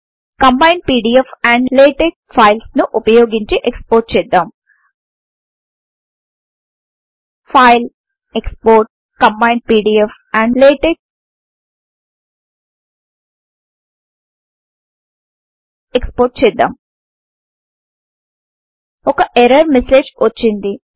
combined PDF and LaTeX files ను వుపయోగించి export చేద్దాం ఫైల్గ్ట్గ్ట్ ఎక్స్పోర్ట్గ్ట్గ్ట్ కంబైండ్ పీడీఎఫ్ ఆండ్ లాటెక్స్ జీటీజీటెక్స్పోర్ట్ చేద్దాం ఒక ఎర్రర్ మెసేజ్ వచ్చింది